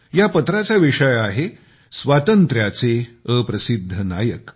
या पत्राचा विषय आहे स्वातंत्र्याचे अनसंग हिरो